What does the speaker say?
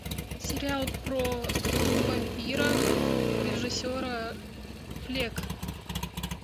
сериал про вампиров режиссера плек